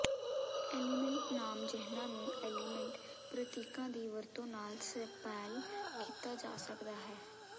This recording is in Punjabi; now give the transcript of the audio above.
ਐਲੀਮੈਂਟ ਨਾਮ ਜਿਹਨਾਂ ਨੂੰ ਐਲੀਮੈਂਟ ਪ੍ਰਤੀਕਾਂ ਦੀ ਵਰਤੋਂ ਨਾਲ ਸਪੈਲ ਕੀਤਾ ਜਾ ਸਕਦਾ ਹੈ